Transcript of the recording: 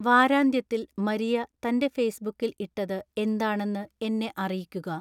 വാരാന്ത്യത്തിൽ മരിയ തന്റെ ഫെയ്സ്ബുക്കിൽ ഇട്ടത് എന്താണെന്ന് എന്നെ അറിയിക്കുക